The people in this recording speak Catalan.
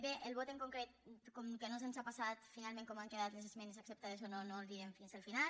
bé el vot en concret com que no se’ns ha passat finalment com han quedat les esmenes acceptades o no no el direm fins al final